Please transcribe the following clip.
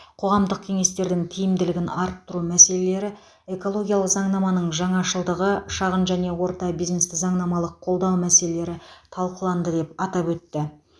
қоғамдық кеңестердің тиімділігін арттыру мәселелері экологиялық заңнаманың жаңашылдығы шағын және орта бизнесті заңнамалық қолдау мәселелері талқыланды деп атап өтті